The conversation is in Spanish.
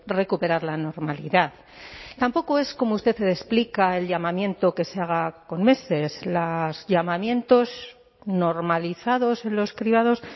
recuperar la normalidad tampoco es como usted explica el llamamiento que se haga con meses los llamamientos normalizados en los cribados